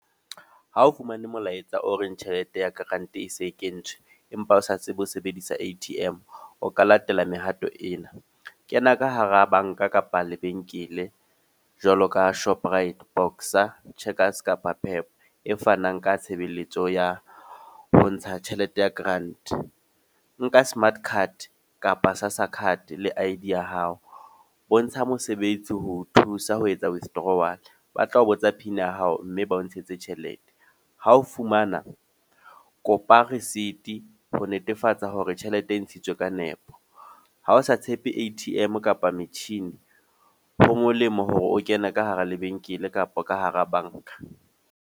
Ha o fumane molaetsa o reng tjhelete ya grant e se kentswe. Empa o sa tsebe ho sebedisa A_T_M. O ka latela mehato ena. Kena ka hara banka kapa lebenkele. Jwalo ka Shoprite, Boxer, Checkers kapa Pep e fanang ka tshebeletso ya ho ntsha tjhelete ya grant. Nka smart card, kapa sa SASSA card le I_D ya hao. Bontsha mosebetsi ho o thusa ho etsa withdrawal, ba tlao botsa pin ya hao mme ba o ntshetse tjhelete. Ha o fumana, kopa receipt ho netefatsa hore tjhelete e ntshitswe ka nepo. Ha o sa tshepe A_T_M kapa metjhini, ho molemo hore o kene ka hara lebenkele kapa ka hara banka.